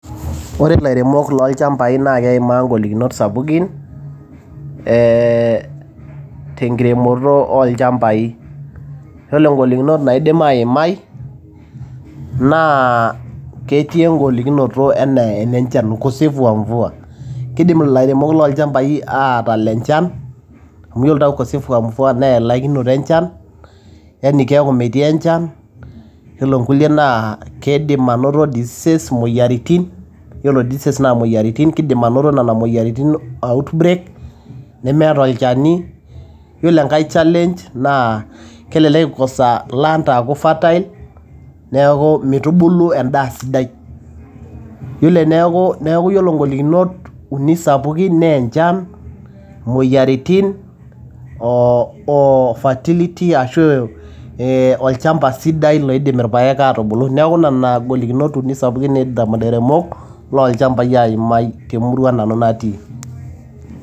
Ore ilairemok loo ilchambai naa keimaa ingolikinot sapukin, ee tenkiremoto oolchambai, Ore ingolikinot naidim aimai, ketii engolikinoto anaa enenchan, ukosefu wa mvua keidim atala enchan, nelo inkuliek naa keidim anoto imoyiaritin(diseases) outbreak, nemeeta olchani. Iyiolo challenge naa kelelek eikosa land aaku fertile, neaku meitubulu endaa sidai. Neaku ore ingolikinot uni sapukin naa enchan, imoyiaritin oo fertility ashu olchamba sidai naidim ilpaek atubulu, nena golikinot sapukin naidim ilairemok aimae temurua nanu natii.